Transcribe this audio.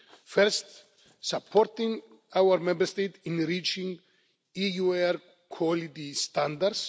First supporting our Member States in reaching EU air quality standards.